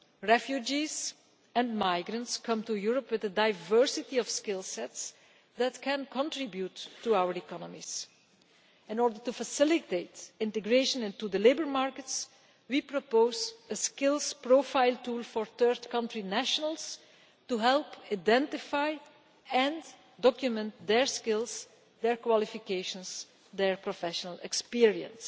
Refugees and migrants come to Europe with a diversity of skill sets that can contribute to our economies. In order to facilitate integration into the labour markets, we propose a Skills Profile Tool for Third Country Nationals to help identify and document their skills, their qualifications, and their professional experience.